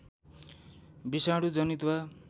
विषाणु जनित वा